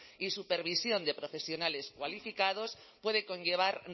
y supervisión de profesionales cualificados puede conllevar